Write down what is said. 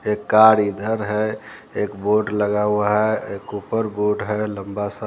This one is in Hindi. एक कार इधर है एक बोर्ड लगा हुआ है एक ऊपर बोर्ड है लंबा सा --